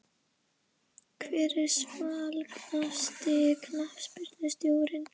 Hver er svalasti knattspyrnustjórinn?